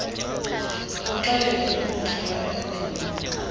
buxelegu imikrwelo erludongeni